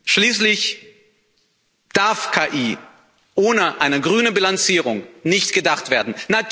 Schließlich darf KI ohne eine grüne Bilanzierung nicht gedacht werden.